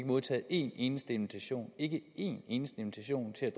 modtaget en eneste invitation ikke en eneste invitation til at